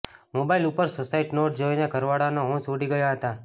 mobile ઉપર suicide note જોઈને ઘરવાળાના હોંશ ઉડી ગયા હતા